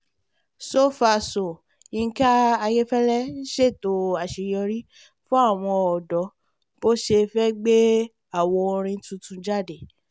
so far so yinka ayéfẹ́lẹ́ ń ṣètò àṣeyọrí fún àwọn ọ̀dọ́ bó ṣe fẹ́ gbé àwo orin tuntun jáde